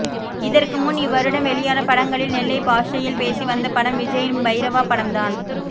இதற்கு முன் இவ்வருடம் வெளியான படங்களில் நெல்லை பாஷையில் பேசி வந்த படம் விஜய்யின் பைரவா படம் தான்